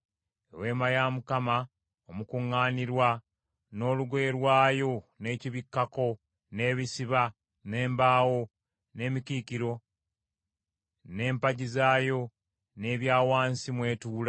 “Eweema ya Mukama Omukuŋŋaanirwa n’olugoye lwayo n’ekibikkako, n’ebisiba, n’embaawo, n’emikiikiro, n’empagi zaayo, n’ebituurwamu;